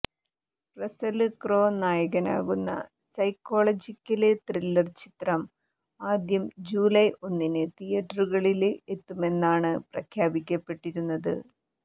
Russell Crowe നായകനാകുന്ന psychological thriller ചിത്രം ആദ്യം ജൂലൈ ഒന്നിന് തീയേറ്ററുകളില് എത്തുമെന്നാണ് പ്രഖ്യാപിക്കപ്പെട്ടിരുന്നത്